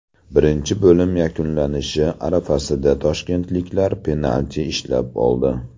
Birinchi bo‘lim yakunlanishi arafasida toshkentliklar penalti ishlab oldi.